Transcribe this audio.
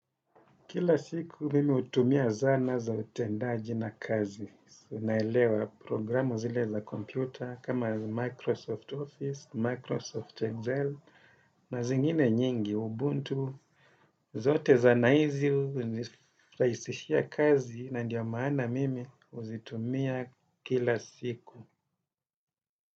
Kila siku mimi utumia zana za utendaji na kazi. SI unaelewa programu zile za kompyuta kama Microsoft Office, Microsoft Excel, na zingine nyingi Ubuntu. Zote zana hizi uniraisishia kazi na ndio maana mimi uzitumia kila siku.